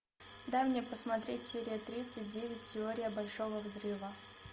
дай мне посмотреть серия тридцать девять теория большого взрыва